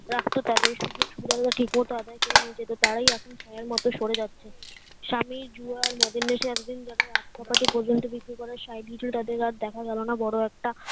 রাগ তো তাদের সুযোগ সুবিধা ঠিক মতো আদায়ে করে নিয়ে যেতো তারাই এখুন সায়ের মতো সরে যাচ্ছে স্বামী জুয়া আর মদের নেশা এতদিন যাদের হাত পকেটে পর্যন্ত বিক্রি করার সায় দিয়েছিল তাদের আর দেখা গেল না বড়ো একটা